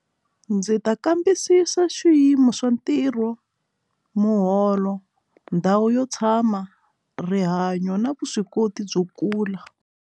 Ndzi ta kambisisa swiyimo swa ntirho muholo ndhawu yo tshama rihanyo na vuswikoti byo kula.